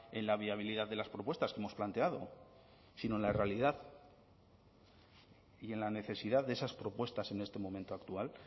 en la viabilidad de las propuestas que hemos planteado sino en la realidad y en la necesidad de esas propuestas en este momento actual